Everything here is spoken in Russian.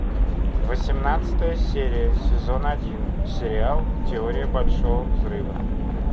восемнадцатая серия сезон один сериал теория большого взрыва